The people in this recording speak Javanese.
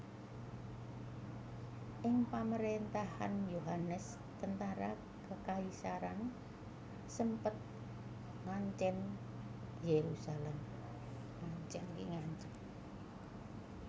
Ing pamerintahan Yohanes tentara kekaisaran sempet ngancem Yerusalem